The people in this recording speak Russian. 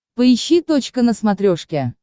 поищи точка на смотрешке